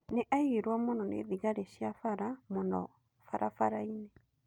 Nĩ agiirwo mũno nĩ thigari cia bara mũno barabara-inĩ.